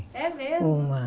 É mesmo? Uma